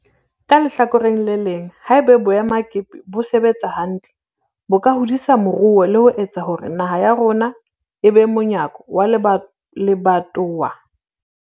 Ka lehlakoreng le leng, ha eba boemakepe bo sebetsa hantle bo ka hodisa moruo le ho etsa hore naha ya rona e be monyako wa lebatowa le kontinente ya rona.